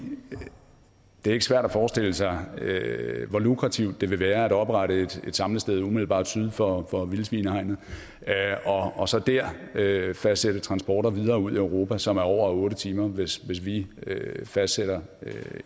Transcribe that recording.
det ikke er svært at forestille sig hvor lukrativt det vil være at oprette et samlested umiddelbart syd for vildsvinehegnet og så der fastsatte transporter videre ud i europa som er på over otte timer hvis vi fastsætter